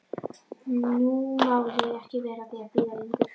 Nú má ég ekki vera að því að bíða lengur.